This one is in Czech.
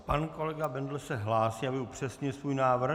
Pan kolega Bendl se hlásí, aby upřesnil svůj návrh.